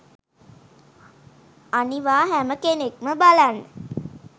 අනිවා හැම කෙනෙක්ම බලන්න